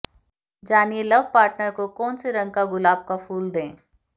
जानिए love partner को कौन से रंग का गुलाब का फूल दें